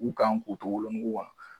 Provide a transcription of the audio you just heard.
U kan k'u to wolonugu kan